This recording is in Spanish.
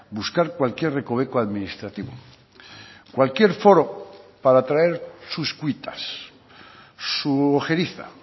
buscar cualquier recoveco administrativo cualquier foro para traer sus cuitas su ojeriza